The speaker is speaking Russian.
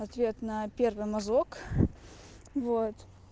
ответ на первый мазок вот